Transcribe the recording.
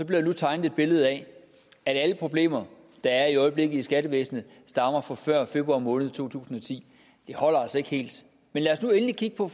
der nu tegnet et billede af at alle problemer der er i øjeblikket i skattevæsenet stammer fra før februar måned to tusind og ti det holder altså ikke helt men lad os nu endelig kigge på